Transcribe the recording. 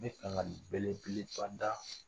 N bɛ kankari belebeleba da